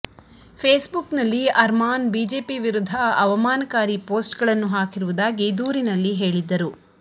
face book ನಲ್ಲಿ Arman BJP ವಿರುದ್ದ ಅವಮಾನಕಾರಿ ಪೋಸ್ಟ್ಗಳನ್ನು ಹಾಕಿರುವುದಾಗಿ ದೂರಿನಲ್ಲಿ ಹೇಳಿದ್ದರು